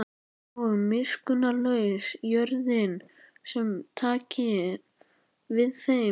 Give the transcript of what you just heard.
Og miskunnarlaus jörðin sem taki við þeim.